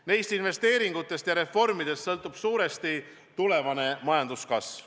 Neist investeeringutest ja reformidest sõltub suuresti tulevane majanduskasv.